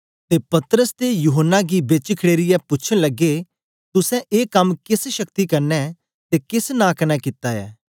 ते पतरस ते यूहन्ना गी बेच खड़ेरियै पूछन लगे तुसें ए कम केस शक्ति कन्ने ते केस नां कन्ने कित्ता ऐ